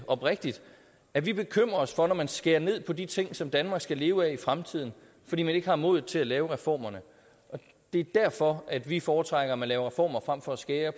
oprigtigt at vi bekymrer os for at man skærer ned på de ting som danmark skal leve af i fremtiden fordi man ikke har modet til at lave reformerne det er derfor at vi foretrækker at man laver reformer frem for at skære